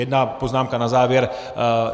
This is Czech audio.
Jedna poznámka na závěr.